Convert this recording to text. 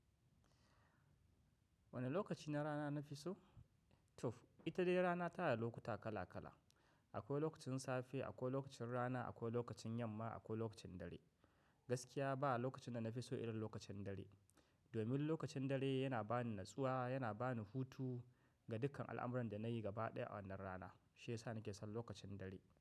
Wane lokaci na rana na fi so? To, ita dai rana ta na da lokuta kala kala. Akwai lokacin safe, akwai lokacin rana, akwai lokacin yamma, akwai lokacin dare. Gaskiya ba lokacin da na fi so illin lokacin dare. Domin lokacin dare yana ba ni natsuwa, yana ba ni hutu ga dukkan al'amuran da na yi gaba ɗaya a wannan rana. Shi ya sa ni ke son lokacin dare.